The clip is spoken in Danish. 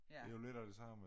Det jo lidt af det samme